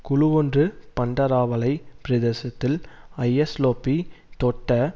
குழுவொன்று பண்டராவளை பிரதேசத்தில் ஐஸ்லோபி தொட்ட